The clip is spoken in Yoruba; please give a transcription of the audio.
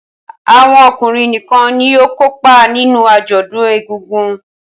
Awọn ọkunrin nìkàn ní yóò kópa nínú ajọdun ègùngùn